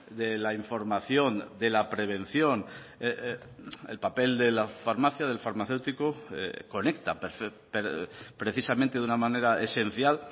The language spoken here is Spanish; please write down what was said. de la información de la prevención el papel de la farmacia del farmacéutico conecta precisamente de una manera esencial